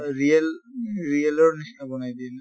real real ৰ নিছিনা বনায় দিয়ে ন